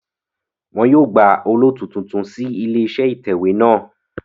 Wọn yóò gba olóòtú tuntun sí ilé iṣẹ́ ìtẹ̀wé náà